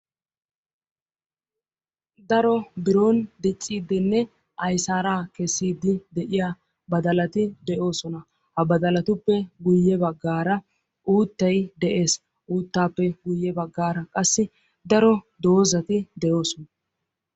Daro biron dicciidinne aysaara kessiidi de'iya baddalati de'osona. Ha baddalatuppe guyye baggaara uuttay de'ees. Uuttaappe guyye baggaara qassi daro doozati de'osona.